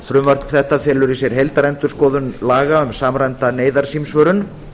frumvarp þetta felur í sér heildarendurskoðun laga um samræmda neyðarsímsvörun